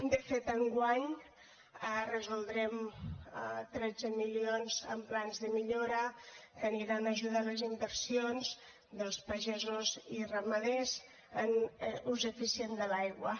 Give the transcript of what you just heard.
de fet enguany resoldrem tretze milions en plans de millora que aniran a ajudar les inversions dels pagesos i ramaders en l’ús eficient de l’aigua